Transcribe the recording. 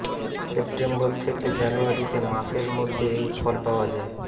September থেকে জানুয়ারিতে মাসের মধ্যে এই ফল পাওয়া যায়